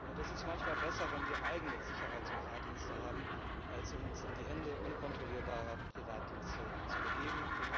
Es ist manchmal besser, wenn wir eigene Sicherheits und Fahrdienste haben, als uns in die Hände unkontrollierbarer Privatdienste zu begeben.